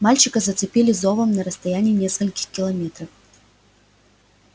мальчика зацепили зовом на расстоянии нескольких километров